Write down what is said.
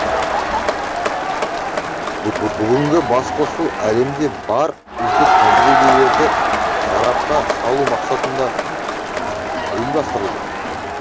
бүгінгі басқосу әлемде бар үздік тәжірибелерді сарапқа салу мақсатында ұйымдастырылды